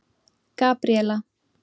Gabríella